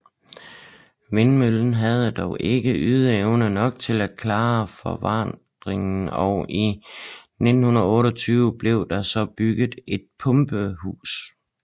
Vindmøllen havde dog ikke ydeevne nok til at klare afvandingen og i 1928 blev der så bygget et pumpehus